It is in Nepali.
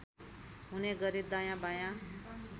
हुने गरी दायाँबायाँ